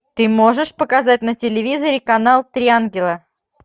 ты можешь показать на телевизоре канал три ангела